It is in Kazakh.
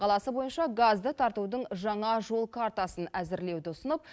қаласы бойынша газды тартудың жаңа жол картасын әзірлеуді ұсынып